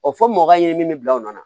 fɔ mɔka ye min bɛ bila o nɔ na